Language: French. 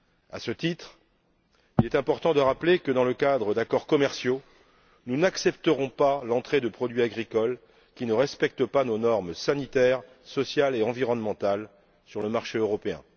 À ce titre, il est important de rappeler que, dans le cadre d'accords commerciaux, nous n'accepterons pas l'entrée de produits agricoles qui ne respectent pas nos normes sanitaires, sociales et environnementales sur le marché européen.